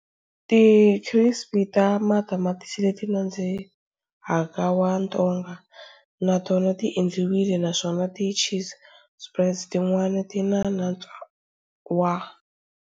Ti crisps ta matamatisi leti nandzihaka wa ntonga na tona ti endliwile, naswona ti cheese spreads tin'wana tina nantswo wa.